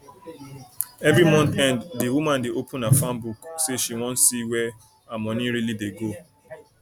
every month end the woman dey open her farm book say she wan see where her money really dey go